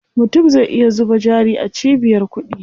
Mutum zai iya zuba jari a cibiyar kuɗi.